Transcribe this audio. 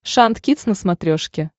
шант кидс на смотрешке